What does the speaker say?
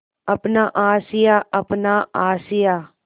अपना आशियाँ अपना आशियाँ